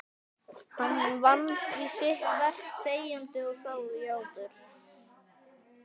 Hann vann því sitt verk þegjandi og þjáður.